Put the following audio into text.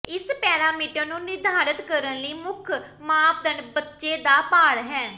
ਇਸ ਪੈਰਾਮੀਟਰ ਨੂੰ ਨਿਰਧਾਰਤ ਕਰਨ ਲਈ ਮੁੱਖ ਮਾਪਦੰਡ ਬੱਚੇ ਦਾ ਭਾਰ ਹੈ